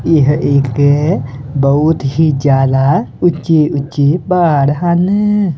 ਇਹ ਇੱਕ ਬਹੁਤ ਹੀ ਜਿਆਦਾ ਊਂਚੇ ਊਂਚੇ ਪਹਾੜ ਹਨ।